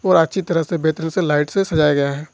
और अच्छी तरह से बेहतरीन से लाइट से सजाया गया है।